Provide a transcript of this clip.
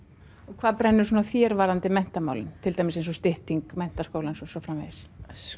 hvað brennur á þér varðandi menntamálin til dæmis eins og stytting menntaskólans og svo framvegis